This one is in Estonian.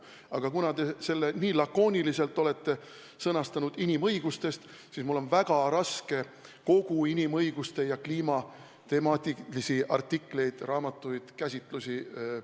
Aga kuna te olete teema sõnastanud nii lakooniliselt – inimõigustest –, siis mul oli väga raske end ette valmistada siin saalis vastamiseks, pidades silmas kõiki inimõiguste- ja kliimateemalisi artikleid, raamatuid ja käsitlusi.